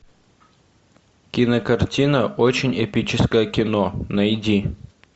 кинокартина очень эпическое кино найди